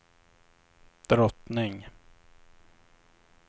drottning